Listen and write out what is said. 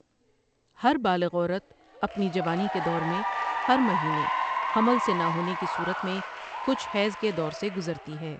ہر بالغ عورت اپنی جوانی کے دور میں ہر مہینے حمل سے نہ ہونے کی صورت میں کچھ حیض کے دور سے کزرتی ہے ۔